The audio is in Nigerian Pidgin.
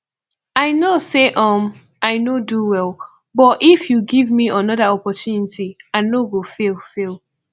i know say um i no do well but if you give me another opportunity i no go fail fail